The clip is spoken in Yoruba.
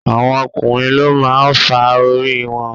àwọn ọkùnrin ló máa ń fà orí wọn.